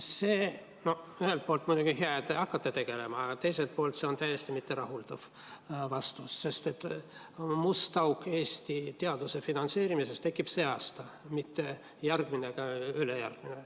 See on ühelt poolt muidugi hea, et te hakkate sellega tegelema, aga teiselt poolt on see täiesti mitterahuldav vastus, sest must auk Eesti teaduse finantseerimises tekib sel aastal, mitte järgmisel ega ülejärgmisel.